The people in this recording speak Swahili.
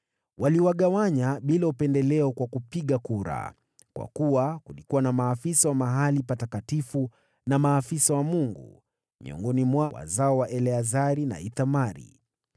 Waliwagawanya bila upendeleo kwa kupiga kura, kwa kuwa kulikuwa na maafisa wa mahali patakatifu na maafisa wa Mungu miongoni mwa wazao wale wa Eleazari na wale wa Ithamari.